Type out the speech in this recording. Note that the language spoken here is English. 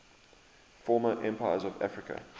former empires of africa